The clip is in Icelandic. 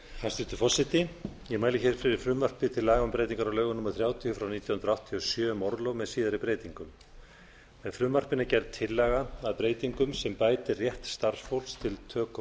hæstvirtur forseti ég mæli hér fyrir frumvarpi til laga um breytingar á lögum númer þrjátíu nítján hundruð áttatíu og sjö um orlof með síðari breytingum með frumvarpinu er gerð tillaga að breytingum sem bætir rétt starfsfólks til töku